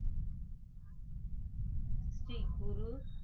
Sri Guru